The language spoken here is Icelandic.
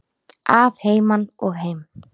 Að heiman og heim.